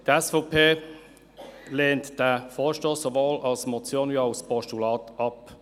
Die SVP lehnt diesen Vorstoss sowohl als Motion als auch als Postulat ab.